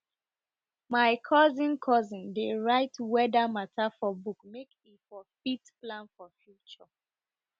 my cousin cousin dey write weader matter for book make e for fit plan for future